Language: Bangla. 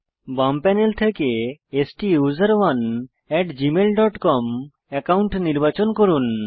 বাম প্যানেল থেকে স্টুসেরনে at Gmail dot com account নির্বাচন করুন